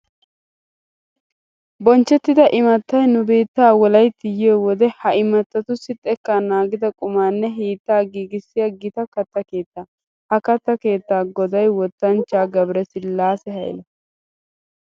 Bonchchettida imattay nu biittaa Wolaytti yiyo wode ha imattatussi xekkaa naagida qumaanne hiittaa giigissiya gita katta keettaa. Ha keettaa goday wotanchchaa Gabresillaase Hayla.